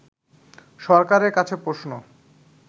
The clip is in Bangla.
সরকারের কাছে প্রশ্ন